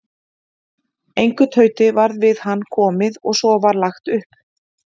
Engu tauti varð við hann komið og svo var lagt upp.